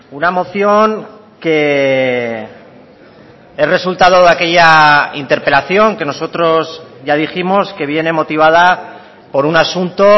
una moción que es resultado de aquella interpelación que nosotros ya dijimos que viene motivada por un asunto